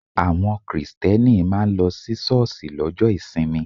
Àwọn Kristẹni máa ń lọ sí ṣọ́ọ̀ṣì lọ́jọ́ ìsinmi.